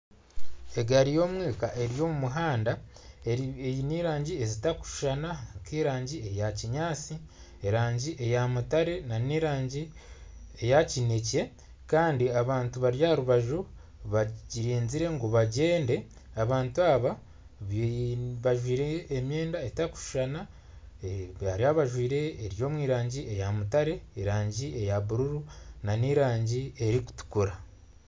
Egaari y'omwika eri omu muhanda eine erangi zitakushushana nk'erangi eya kinyaatsi, erangi eya mutare n'erangi eya kinekye. Kandi abantu bari aha rubaju bagiriinzire ngu bagyende. Abantu aba bajwaire emyenda etakushushana. Hariho abajwaire eri omu rangi eya mutare, erangi eya bururu n'erangi erikutukura.